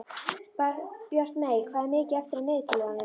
Bjartmey, hvað er mikið eftir af niðurteljaranum?